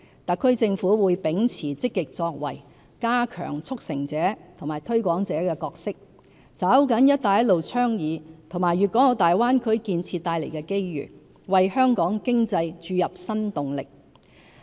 特區政府會秉持積極作為，加強"促成者"和"推廣者"的角色，抓緊"一帶一路"倡議和粵港澳大灣區建設帶來的機會，為香港經濟注入新動力。